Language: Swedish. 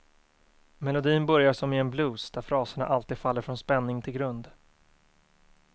Melodin börjar som i en blues, där fraserna alltid faller från spänning till grund.